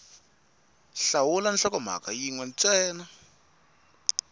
hlawula nhlokomhaka yin we ntsena